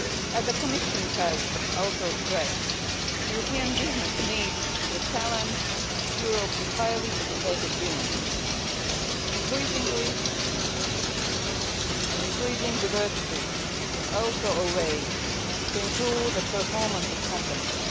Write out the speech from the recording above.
As the Commission has also stressed, European business needs the talents of Europe's highly educated women, and increasing diversity is also a way to improve the performance of companies.